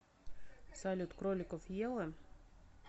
салют кроликов ела